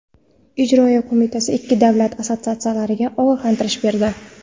Ijroiya qo‘mitasi ikki davlat assotsiatsiyalariga ogohlantirish berdi.